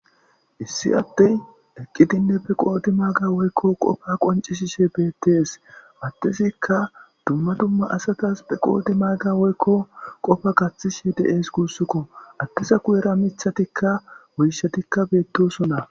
Issi Adey eqidinne be qodimaga woyko Qopa qoncisishe betes. Adezika dumma dumma asatas be qodimaga woyko Qopa gathishe de'es gusako , Ade guyera Mithatika woyshatika betosona.